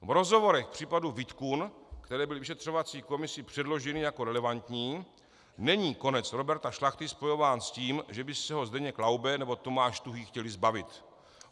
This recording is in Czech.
V rozhovorech v případu VIDKUN, které byly vyšetřovací komisi předloženy jako relevantní, není konec Roberta Šlachty spojován s tím, že by se ho Zdeněk Laube nebo Tomáš Tuhý chtěli zbavit.